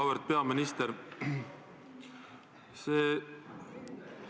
Auväärt peaminister!